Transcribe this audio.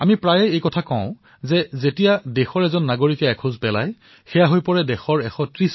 আমি প্ৰায়েই এই কথা কও যে যেতিয়া দেশৰ প্ৰতিজন নাগৰিকে এখোজ আগবাঢ়ে তেতিয়া দেশেও ১৩০ খোজ আগবাঢ়ে